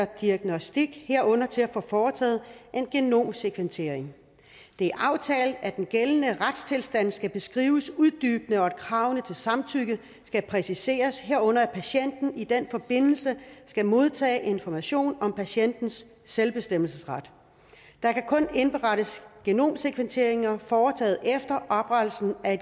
diagnostik herunder til at få foretaget en genomsekventering det er aftalt at den gældende retstilstand skal beskrives uddybende og at kravene til samtykke skal præciseres herunder at patienten i den forbindelse skal modtage information om patientens selvbestemmelsesret der kan kun indberettes genomsekventeringer der er foretaget efter oprettelsen af